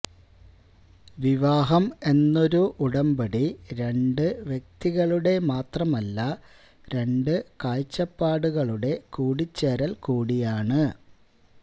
വിവാഹം എന്നൊരു ഉടമ്പടി രണ്ട് വ്യക്തികളുടെ മാത്രമല്ല രണ്ട് കാഴ്ചപ്പാടുകളുടെ കൂടിച്ചേരല് കൂടിയാണ്